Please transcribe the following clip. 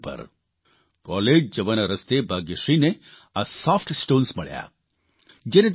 soft stones પર college જવાના રસ્તે ભાગ્યશ્રીને આ સોફ્ટ સ્ટોન્સ મળ્યા